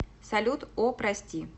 салют о прости